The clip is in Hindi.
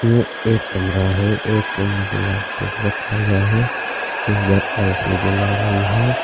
ये एक कमरा है एक कमरे में लैपटॉप रखा हुआ है इधर एल_सी_डी लग रही है।